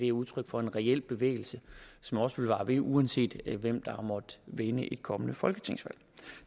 er udtryk for en reel bevægelse som også vil vare ved uanset hvem der måtte vinde et kommende folketingsvalg